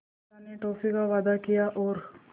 चाचा ने टॉफ़ी का वादा किया और